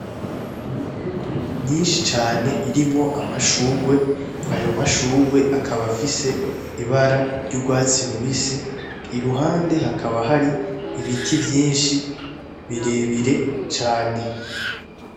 Imifuku myinshi cane irimwo amashugwe ayo mashugwe akaba afise ibara ry'urwatsi rubisi i ruhande hakaba hari ibiti vyinshi birebire cane.